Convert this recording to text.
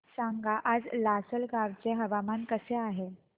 सांगा आज लासलगाव चे हवामान कसे आहे